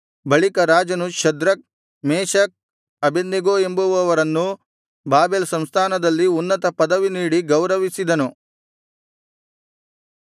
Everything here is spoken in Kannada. ಬಳಿಕ ರಾಜನು ಶದ್ರಕ್ ಮೇಶಕ್ ಅಬೇದ್ನೆಗೋ ಎಂಬುವವರನ್ನು ಬಾಬೆಲ್ ಸಂಸ್ಥಾನದಲ್ಲಿ ಉನ್ನತ ಪದವಿ ನೀಡಿ ಗೌರವಿಸಿದನು